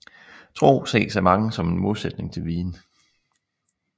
Tro ses af mange som en modsætning til viden